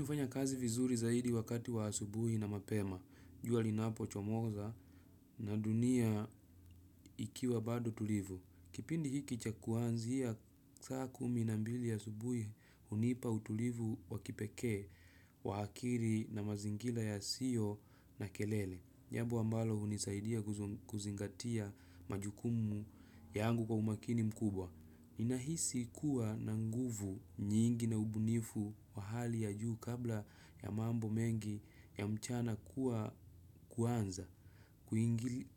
Hufanya kazi vizuri zaidi wakati wa asubuhi na mapema, jua linapochomoza na dunia ikiwa bado tulivu. Kipindi hiki cha kuanzia saa kumi na mbili ya asubuhi hunipa utulivu wa kipekee wa akili na mazingira yasiyo na kelele. Jambo ambalo hunisaidia kuzingatia majukumu yangu kwa umakini mkubwa. Ninahisi kuwa na nguvu nyingi na ubunifu wa hali ya juu kabla ya mambo mengi ya mchana kuwa kuanza